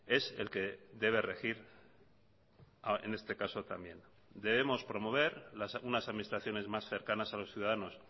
es el que debe regir en este caso también debemos promover unas administraciones más cercanas a los ciudadanos